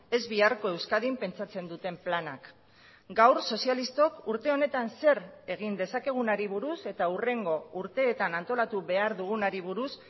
ez biharko euskadin pentsatzen duten planak gaur sozialistok urte honetan zer egin dezakegunari buruz eta hurrengo urteetan antolatu behar dugunari buruz